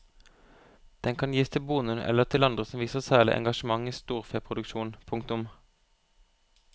Den kan gis til bonden eller til andre som viser særlig engasjement i storfeproduksjonen. punktum